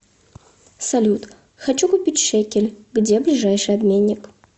салют хочу купить шекель где ближайший обменник